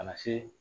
A na se